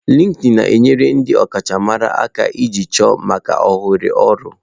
Lịkịịnị na-enyere ndị ọkachamara aka jikọọ maka ohere ọrụ.